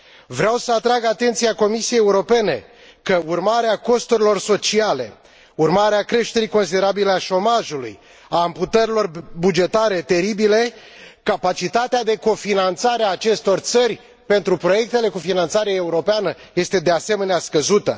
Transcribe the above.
Vreau să atrag atenția Comisiei Europene că, urmare a costurilor sociale, urmare a creșterilor considerabile a șomajului, a amputărilor bugetare teribile, capacitatea de co finanțare a acestor țări pentru proiectele cu finanțare europeană este, de asemenea, scăzută.